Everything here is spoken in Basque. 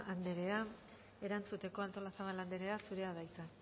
anderea erantzuteko artolazabal anderea zurea da hitza